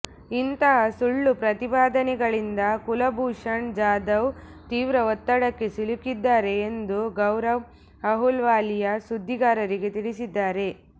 ಇಂತಹ ಸುಳ್ಳು ಪ್ರತಿಪಾದನೆಗಳಿಂದ ಕುಲಭೂಷಣ್ ಜಾಧವ್ ತೀವ್ರ ಒತ್ತಡಕ್ಕೆ ಸಿಲುಕಿದ್ದಾರೆ ಎಂದು ಗೌರವ್ ಅಹ್ಲುವಾಲಿಯ ಸುದ್ದಿಗಾರರಿಗೆ ತಿಳಿಸಿದ್ದಾರೆ